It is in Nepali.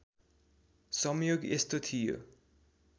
संयोग यस्तो थियो